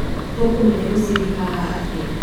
Tũkũmenya mũcidi haha atĩa?